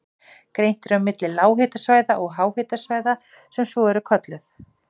Greint er á milli lághitasvæða og háhitasvæða sem svo eru kölluð.